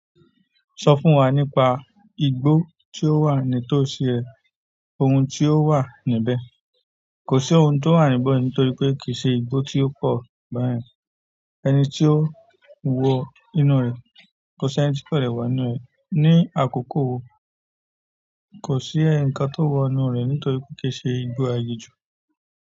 Sọ fún wa nípa igbó tí ó wà ní tó ṣi ré, ohun tí ó wà níbẹ̀. Kò sí ohun tó wà níbẹ̀ ní nítorí pé kì í ṣe igbó tí ó pọ̀ bà yẹ̀n. Ẹni tí ó wọn inú rẹ̀, kò sí ẹni tí lẹ̀ wọ inú rẹ̀. Ni àkókò wo kò sí ẹ̀ǹkan tó wọ inú rẹ̀ nítorí pé kì í ṣe igbó aginjù.